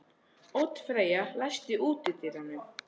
Oddfreyja, læstu útidyrunum.